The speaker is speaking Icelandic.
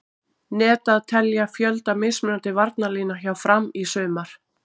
Net að telja fjölda mismunandi varnarlína hjá Fram í sumar?